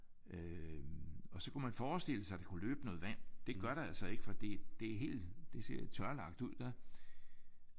Øh og så kunne man forestille sig at der kunne løbe noget vand. Det gør der altså ikke fordi det er helt det ser tørlagt ud der